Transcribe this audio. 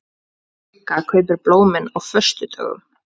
Sigga kaupir blómin á föstudögum.